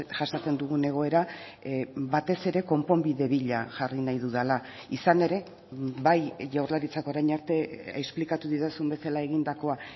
jasaten dugun egoera batez ere konponbide bila jarri nahi dudala izan ere bai jaurlaritzak orain arte esplikatu didazun bezala egindakoa